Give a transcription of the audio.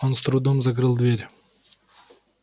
он с трудом закрыл дверь